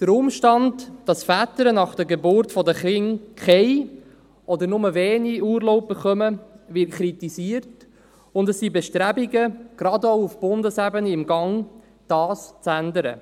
Der Umstand, dass Väter nach der Geburt der Kinder keinen oder nur wenig Urlaub erhalten, wird kritisiert, und es sind gerade auch auf Bundesebene Bestrebungen im Gange, dies zu ändern.